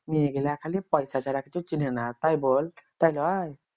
মেয়েগুলা খালি পয়সা ছাড়া কিছু চিনেহেনা তাই বল তাই লই